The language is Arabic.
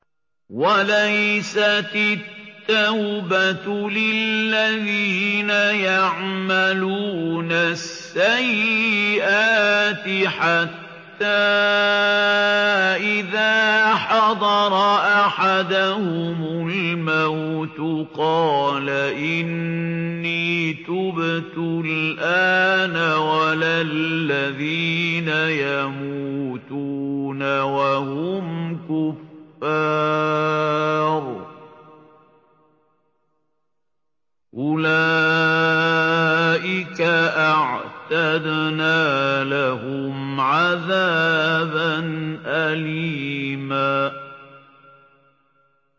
وَلَيْسَتِ التَّوْبَةُ لِلَّذِينَ يَعْمَلُونَ السَّيِّئَاتِ حَتَّىٰ إِذَا حَضَرَ أَحَدَهُمُ الْمَوْتُ قَالَ إِنِّي تُبْتُ الْآنَ وَلَا الَّذِينَ يَمُوتُونَ وَهُمْ كُفَّارٌ ۚ أُولَٰئِكَ أَعْتَدْنَا لَهُمْ عَذَابًا أَلِيمًا